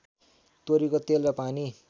तोरीको तेल र पानी